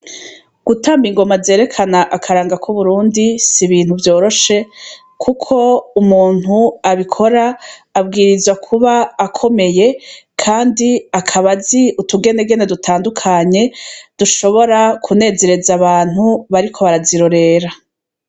Gutamba ingoma zerekana akaranga k’I Burundi n’ibintu vyoroshe Kuko umuntu abikora abwirizwa kuba akomeye kandi akaba azi utugenegene dutandukanye dushobora kunezereza abantu bariko barazirorera .